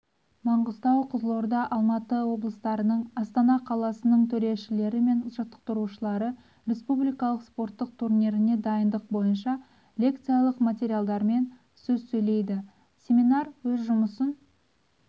маңғыстау қызылорда алматы облыстарының астана қаласының төрешілері мен жаттықтырушылары республикалық спорттық турниріне дайындық бойынша лекциялық материалдарымен сөз сөйледі семинар өз жұмысын